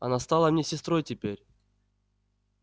она стала мне сестрой теперь